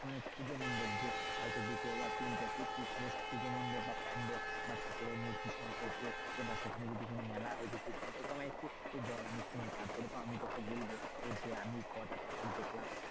মানে পুজো মণ্ডপ যে হয়তো দুটো বা তিনটে বা প্যান্ডেল বা ঠাকুরের মূর্তি সম্পর্কে বা সেখানে যদি কোনো মেলা হয়েছে সেই সম্পর্কে বল আমি শুনি তারপরে তো আমি বলবো যে আমি কোটা ঠাকুর দেখলাম,